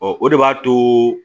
Ɔ o de b'a to